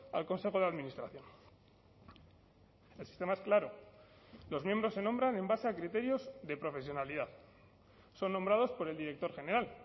al consejo de administración el sistema es claro los miembros se nombran en base a criterios de profesionalidad son nombrados por el director general